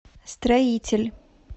строитель